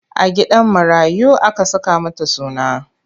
A gidan marayu aka saka mata suna.